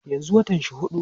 yanzun watan shi huɗu